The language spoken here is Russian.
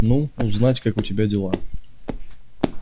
ну узнать как у тебя дела